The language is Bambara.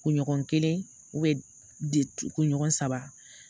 Kun ɲɔgɔn kelen kun ɲɔgɔn saba